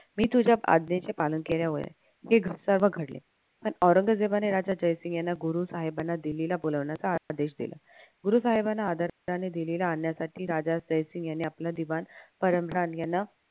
मी तुझ्या आज्ञेचे पालन केल्यावर हे घडले पण औरंगजेबाने राजा जयसिंग याना गुरुहेबांना दिल्ल्लीला बोलावण्याचा आदेश दिला. गुरुसाहेबांना राजा जयसिंग यांनी आपला दिवाण परसराम याना